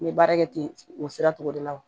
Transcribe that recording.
N bɛ baara kɛ ten o sira tɔgɔ de la